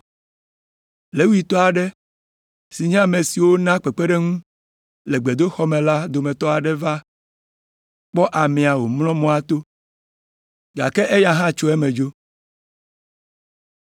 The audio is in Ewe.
Levitɔ aɖe si nye ame siwo naa kpekpeɖeŋu le gbedoxɔ me la dometɔ aɖe hã va kpɔ amea wòmlɔ mɔa to, gake eya hã tso eme dzo.